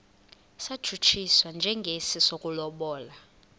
satshutshiswa njengesi sokulobola